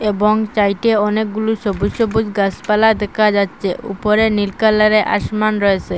এবং চাইটে অনেকগুলো সবুজ সবুজ গাসপালা দেকা যাচচে উপরে নীল কালারে আসমান রয়েসে।